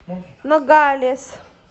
ногалес